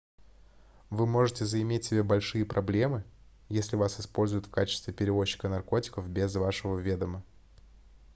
вы можете заиметь себе большие проблемы если вас используют в качестве перевозчика наркотиков без вашего ведома